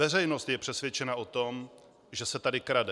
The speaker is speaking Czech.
Veřejnost je přesvědčena o tom, že se tady krade.